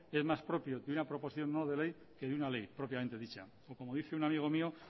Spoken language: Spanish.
es más propio de una proposición no de ley que de una ley propiamente dicha o como dice un amigo mío